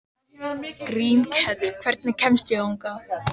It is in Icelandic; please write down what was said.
Grímkell, hvernig kemst ég þangað?